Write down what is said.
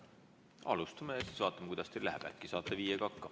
Alustame ja siis vaatame, kuidas teil läheb, äkki saate viiega hakkama.